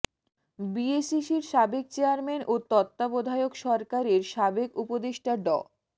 বিএসইসির সাবেক চেয়ারম্যান ও তত্ত্বাবধায়ক সরকারের সাবেক উপদেষ্টা ড